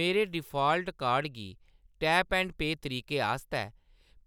मेरे default card गी tap and pay तरीके आस्तै